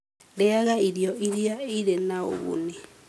Rĩaga irio iria irĩ na ũguni.